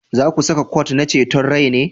Za ku saka kwot na ceton rai ne?